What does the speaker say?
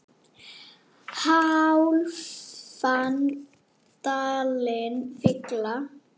hálfan dalinn fylla